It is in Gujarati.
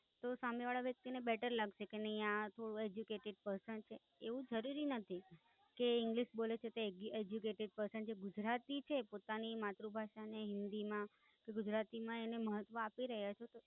તો સામે વાળા વ્યક્તિને ને Better લાગશે કે નાઈ આ તો Educated Person છે, એવું જરૂરી નથી કે English બોલે છે તો Educated Person છે, ગુજરાતી છે પોતાની માતૃભાષાને હિન્દી માં કે ગુજરાતીમાં એનું મહત્વ અપીરહ્યા છે.